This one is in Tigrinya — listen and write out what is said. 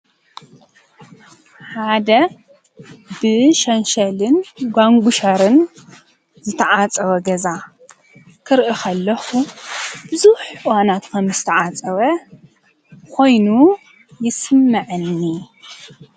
ሓደ ብሸንሸልን ጓንጕሻርን ዘተዓጸወ ገዛ ክርኢኽ ኣለኹ ብዙኅ ዋናት ከምስ ተዓጸወ ኾይኑ ይስመዐኒ።